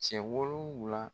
Cɛ wolonwula